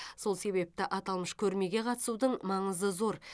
сол себепті аталмыш көрмеге қатысудың маңызы зор